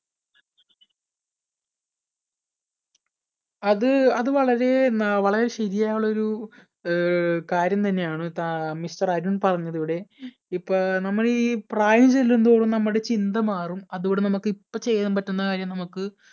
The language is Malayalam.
അത് അത് വളരെ വളരെ ശരിയായുള്ള ഒരു അഹ് കാര്യം തന്നെയാണ് താ mister അരുൺ പറഞ്ഞത് ഇവിടെ. ഇപ്പൊ നമ്മളീ പ്രായം ചെല്ലുംതോറും നമ്മുടെ ചിന്ത മാറും അതുകൊണ്ട് നമുക്ക് ഇപ്പ ചെയ്യാൻ പറ്റുന്ന കാര്യം നമുക്ക്